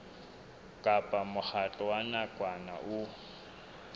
kapa mokgatlo wa nakwana o